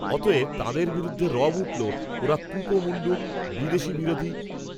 অতএব তাঁদের বিরুদ্ধে রব উঠল ওঁরা কুপমণ্ডূক বিদেশিবিরোধী